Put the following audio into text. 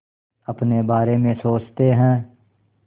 अपने बारे में सोचते हैं